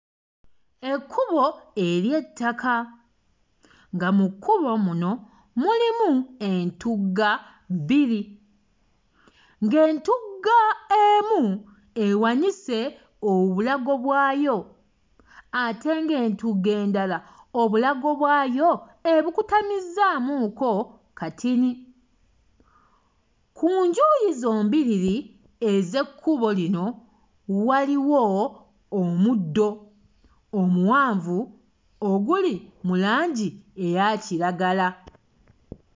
Ekkubo ery'ettaka, nga mu kkubo muno mulimu entugga bbiri, ng'etugga emu ewanise obulago bwayo ate ng'entugga endala obulago bwayo ebukutamizzaamu ko katini, ku njuyi zombiriri ez'ekkubo lino waliwo omuddo omuwanvu oguli mu langi eya kiragala.